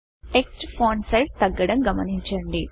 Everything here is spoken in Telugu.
టెక్స్ట్ ఫాంట్ సిజ్ తగ్గడం గమనించండి